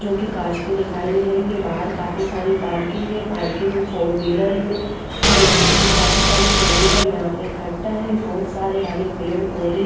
जो कि काच की दिखाई दे रही है बहर काफी सारी पार्किंग है पार्किंग फोर्विलेर में वो काफी सारी फोर्विलेर यहाँ पे इक्कठा है बहोत सारे हरे पेड़ पोधे है।